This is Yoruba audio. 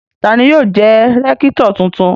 Ta ni yóò jẹ́ rẹ́kítọ̀ tuntun?